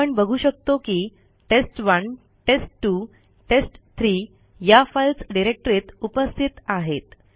आपण बघू शकतो की टेस्ट1 टेस्ट2 टेस्ट3 या फाईल्स डिरेक्टरीत उपस्थित आहेत